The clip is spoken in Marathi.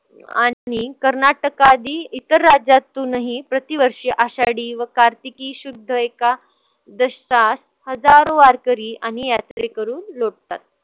आणि कर्नाटकादि इतर राज्यातूनही प्रतिवर्षी आषाडी व कार्तिकी शुद्ध एकादशकात हजारो वारकरी आणि यात्रेकरू लुटतात.